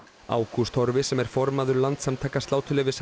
ágúst Torfi sem er formaður Landssamtaka sláturleyfishafa